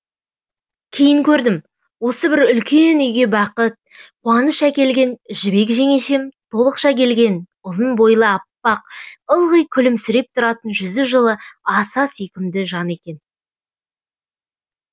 кейін көрдім осы бір үлкен үйге бақыт қуаныш әкелген жібек жеңешем толықша келген ұзын бойлы аппақ ылғи күлімсіреп тұратын жүзі жылы аса сүйкімді жан екен